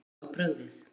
Fólki var brugðið